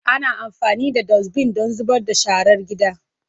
Ana amfani da Dustbin don zubar da sharar gida.